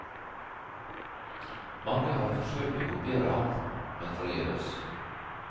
Mange har forsøkt å kopiere ham, men forgjeves.